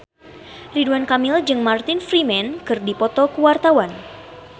Ridwan Kamil jeung Martin Freeman keur dipoto ku wartawan